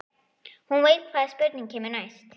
Hún veit hvaða spurning kemur næst.